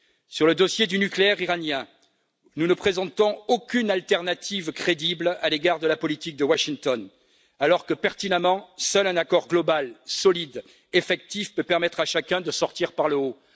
Sur le dossier du nucléaire iranien, nous ne présentons aucune alternative crédible à l'égard de la politique de Washington alors que, pertinemment, seul un accord global solide effectif peut permettre à chacun de sortir par le haut.